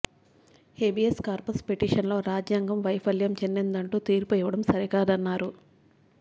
habeas corpus పిటిషన్లలో రాజ్యాంగం వైఫల్యం చెందిందంటూ తీర్పు ఇవ్వడం సరికాదన్నారు